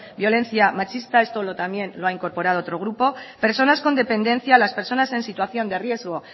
violencia machista esto también lo ha incorporado otro grupo personas con dependencia o las personas en situación de riesgo